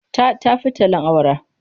Ta tafi tallen awara.